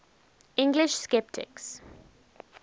english sceptics